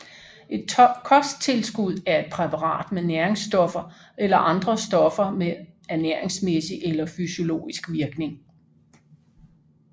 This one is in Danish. Et kosttilskud er et præparat med næringsstoffer eller andre stoffer med ernæringsmæssig eller fysiologisk virkning